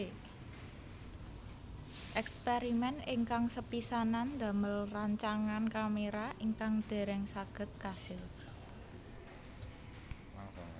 Èkspèrimèn ingkang sepisanan damel rancangan kaméra ingkang dèrèng saged kasil